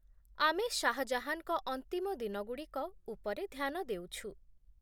ଆମେ ଶାହ ଜାହାନଙ୍କ ଅନ୍ତିମ ଦିନଗୁଡ଼ିକ ଉପରେ ଧ୍ୟାନ ଦେଉଛୁ।